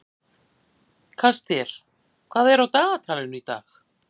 Kastíel, hvað er á dagatalinu í dag?